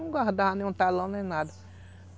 Não guardava nenhum talão nem nada.